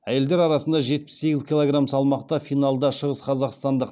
әйелдер арасында жетпіс сегіз килограмм салмақта финалда шығысқазақстандық